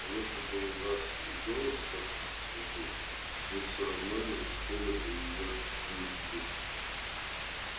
а если бы у нас и было столько кислоты мы всё равно не успели бы её привезти